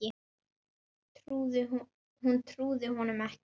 Hún trúði honum ekki.